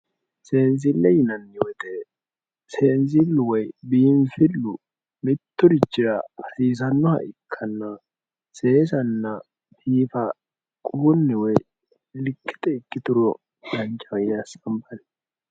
Seensile yinaniweete senisilu woyi biinfilu miturichira hasiisanoha ikana seesana biifa quwunni woyi likete ikituro danchaho yine asabayi